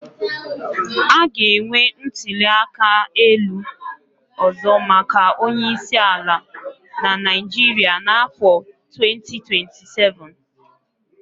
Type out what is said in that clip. A ga-enwe ntuli aka elu ọzọ maka onye isi ala na Naịjirịa n'afọ 2027.